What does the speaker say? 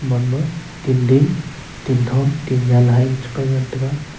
gaganma tingding tingthon tinnyan hai chipai ngantaga.